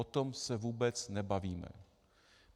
O tom se vůbec nebavíme.